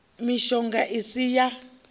mishonga i si ya u